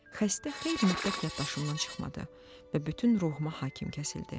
Xəstə xeyli müddət yaddaşımdan çıxmadı və bütün ruhuma hakim kəsildi.